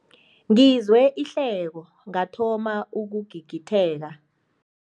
Ngizwe ihleko ngathoma ukugigitheka.